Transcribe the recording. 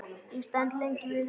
Ég stend lengi við rúmið.